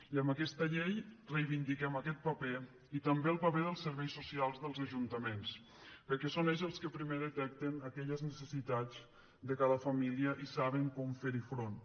i amb aquesta llei reivindiquem aquest paper i també el paper dels serveis socials dels ajuntaments perquè són ells els que primer detecten aquelles necessitats de cada família i saben com fer hi front